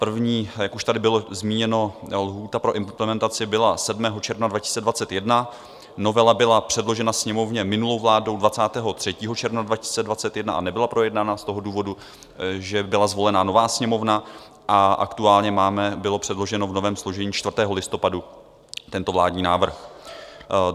První, jak už tady bylo zmíněno, lhůta pro implementaci byla 7. června 2021, novela byla předložena Sněmovně minulou vládou 23. června 2021 a nebyla projednána z toho důvodu, že byla zvolena nová Sněmovna, a aktuálně byl předložen v novém složení 4. listopadu tento vládní návrh.